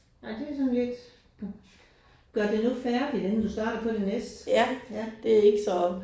Nej det er sådan lidt. Gør du nu færdigt inden du starter på det næste ja